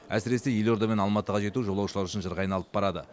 әсіресе елорда мен алматыға жету жолаушылар үшін жырға айналып барады